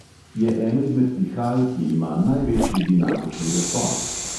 Je eno izmed pihal, ki ima največji dinamični razpon.